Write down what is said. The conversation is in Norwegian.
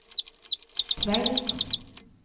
Tveit